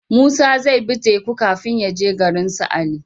Musa zai bi teku kafin yaje garinsu ali